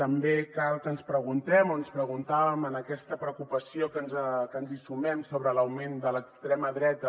també cal que ens preguntem o ens preguntàvem en aquesta preocupació que ens hi sumem sobre l’augment de l’extrema dreta